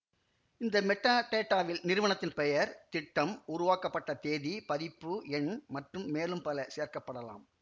இந்த மெட்டாடேட்டாவில் நிறுவனத்தின் பெயர் திட்டம் உருவாக்கப்பட்ட தேதி பதிப்பு எண் மற்றும் மேலும் பல சேர்க்க படலாம்